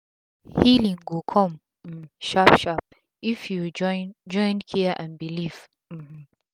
healing go cum um sharp sharp if u join join care and belief um